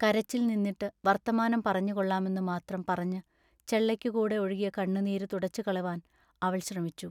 കരച്ചിൽ നിന്നിട്ടു വർത്തമാനം പറഞ്ഞുകൊള്ളാമെന്നു മാത്രം പറഞ്ഞു ചെള്ളയ്ക്കു കൂടെ ഒഴുകിയ കണ്ണുനീരു തുടച്ചുകളവാൻ അവൾ ശ്രമിച്ചു.